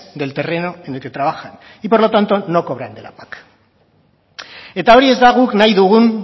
del terreno en el que trabajan y por lo tanto no cobran de la pac eta hori ez da guk nahi dugun